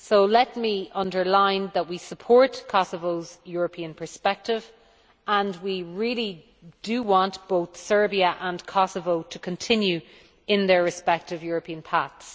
Let me underline that we support Kosovo's European perspective and we really do want both Serbia and Kosovo to continue on their respective European paths.